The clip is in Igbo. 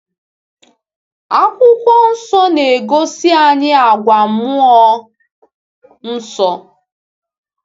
Akwụkwọ Nsọ na-egosi anyị àgwà Mmụọ Nsọ.